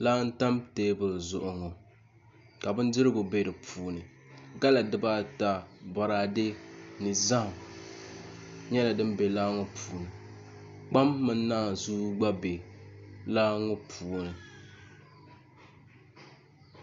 Laa n tam teebuli zuɣu ŋo ka bindirigu bɛ di puuni gala dibaata boraadɛ ni zaham nyɛla din bɛ laa ŋo puuni kpam mini naanzuu gba bɛ laa ŋo puuni